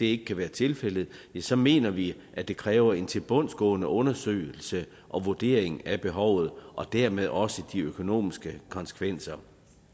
ikke kan være tilfældet så mener vi at det kræver en tilbundsgående undersøgelse og vurdering af behovet og dermed også de økonomiske konsekvenser